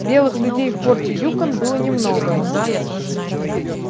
белых людей в форте юкон было немного